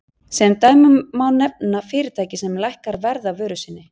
Sem dæmi má nefna fyrirtæki sem lækkar verð á vöru sinni.